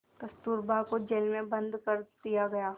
कस्तूरबा को जेल में बंद कर दिया गया